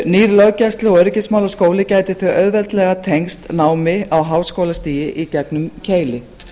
nýr löggæslu og öryggismálaskóli gæti því auðveldlega tengst námi á háskólastigi í gegnum keili